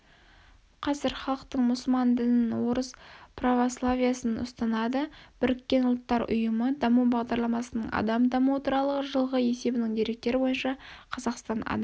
қазір халықтың мұсылман дінін орыс православиесін ұстанады біріккен ұлттар ұйымы даму бағдарламасының адам дамуы туралы жылғы есебінің деректері бойынша қазақстан адам